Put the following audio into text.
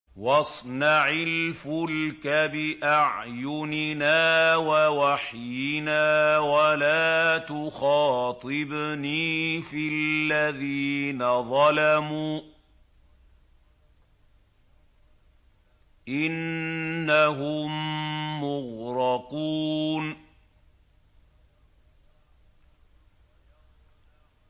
وَاصْنَعِ الْفُلْكَ بِأَعْيُنِنَا وَوَحْيِنَا وَلَا تُخَاطِبْنِي فِي الَّذِينَ ظَلَمُوا ۚ إِنَّهُم مُّغْرَقُونَ